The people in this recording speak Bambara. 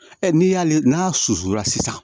Ɛ n'i y'ale n'a susula sisan